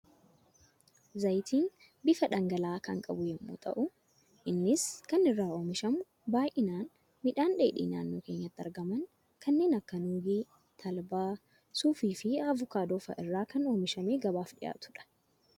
Zayitni bifa dhangala'aa kan qabu yemmuu ta'u, innis kan inni irraa oomishamu baayyinaan midhaan dheedhii naannoo keenyatti argaman kanneen akka nuugii, talbaa, suufii fi avokaadoo fa'aa irraa kan oomishamee gabaaf dhihaatudha.